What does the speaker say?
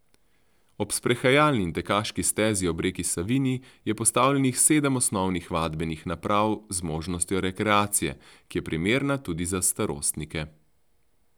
Ob sprehajalni in tekaški stezi ob reki Savinji je postavljenih sedem osnovnih vadbenih naprav z možnostjo rekreacije, ki je primerna tudi za starostnike.